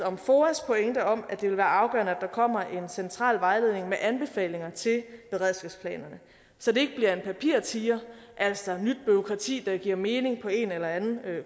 om foas pointe om at det vil være afgørende at der kommer en central vejledning med anbefalinger til beredskabsplanerne så det bliver en papirtiger altså nyt bureaukrati der giver mening på en eller anden